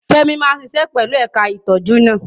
Femi máa ṣiṣẹ́ pẹ̀lú ẹ̀ka ìtọ́jú náà.